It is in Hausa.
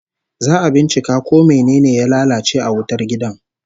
Za'a bincika ko mene ne ya lalace a wutar gidan